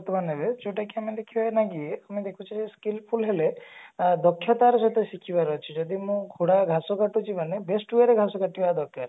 ଯୋଉଟା କି ଆମେ ଦେଖିବା ନା କି ଆମେ ଦେଖୁଛେ skillful ହେଲେ ଅ ଦକ୍ଷତା ର ସହିତ ଶିଖିବାର ଅଛି ଯଦି ଆମେ ଘାସ କାଟୁଛେ ମାନେ best way ରେ ଘାସ କାଟିବା ଦରକାର